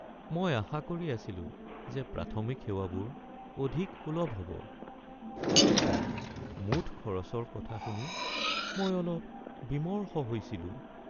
মই আশা কৰি আছিলো যে প্ৰাথমিক সেৱাবোৰ অধিক সুলভ হ'ব, কিন্তু মুঠ খৰচৰ কথা শুনি মই অলপ বিমৰ্ষ হৈছিলো।